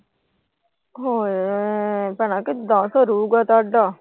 ਹੋਰ ਭੈਣੇ ਕਿਦਾਂ ਸਰੂਗਾ ਤੁਹਡਾ।